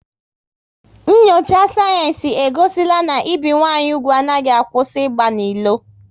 Nyocha sayensị e gosila na ibi nwanyị úgwù anaghị akwụsị ịgba n'ilo